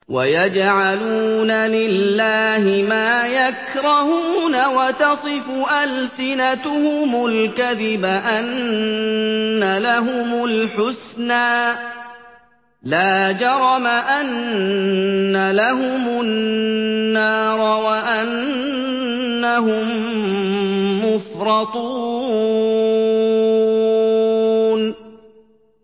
وَيَجْعَلُونَ لِلَّهِ مَا يَكْرَهُونَ وَتَصِفُ أَلْسِنَتُهُمُ الْكَذِبَ أَنَّ لَهُمُ الْحُسْنَىٰ ۖ لَا جَرَمَ أَنَّ لَهُمُ النَّارَ وَأَنَّهُم مُّفْرَطُونَ